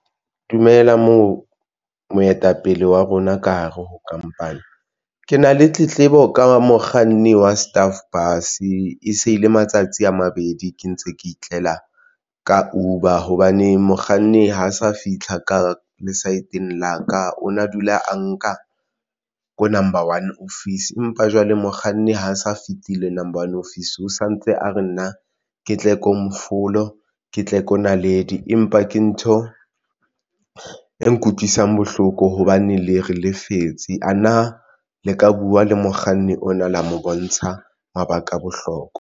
Dumela moo moetapele wa rona ka hare ho company. Ke na le tletlebo ka mokganni wa staff bus, e se ile matsatsi a mabedi ke ntse ke itlela ka Uber hobane mokganni ha sa fitlha ka le saeteng la ka ona dula a nka ko. number one office, empa jwale mokganni ha sa fitile number one ofisi o santse a re nna ke tle ko mefolo, ke tle keo naledi empa ke ntho e nkutlwisang bohloko hobane le re lefetse a na le ka buwa le mokganni ona la mo bontsha mabaka a bohlokwa.